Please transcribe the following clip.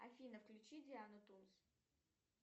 афина включи диану тунс